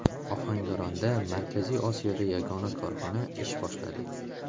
Ohangaronda Markaziy Osiyoda yagona korxona ish boshladi.